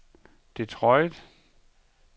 Detroit